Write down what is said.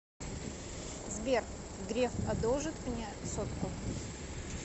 сбер греф одолжит мне сотку